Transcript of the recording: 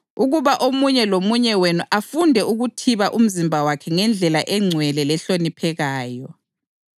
ukuba omunye lomunye wenu afunde ukuthiba umzimba wakhe ngendlela engcwele lehloniphekayo